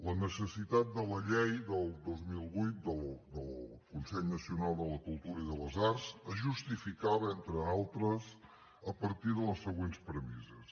la necessitat de la llei del dos mil vuit del consell nacional de la cultura i de les arts es justificava entre altres a partir de les següents premisses